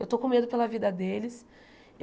Eu estou com medo pela vida deles.